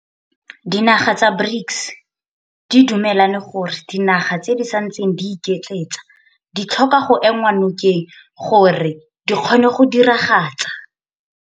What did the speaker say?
Dinaga tsa BRICS di dumelane gore dinaga tse di santseng di iketletsa di tlhoka go enngwa nokeng gore di kgone go diragatsa.